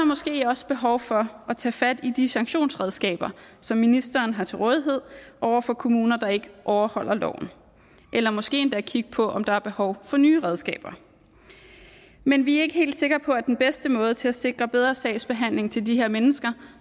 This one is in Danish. måske også behov for at tage fat i de sanktionsredskaber som ministeren har til rådighed over for kommuner der ikke overholder loven eller måske endda kigge på om der er behov for nye redskaber men vi er ikke helt sikre på at den bedste måde til at sikre bedre sagsbehandling til de her mennesker